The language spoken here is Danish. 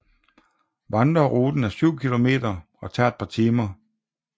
Vandreruten er 7 kilometer og tager et par timer